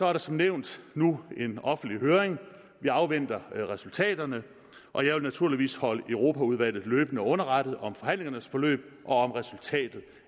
er der som nævnt nu en offentlig høring vi afventer resultaterne og jeg vil naturligvis holde europaudvalget løbende underrettet om forhandlingernes forløb og om resultatet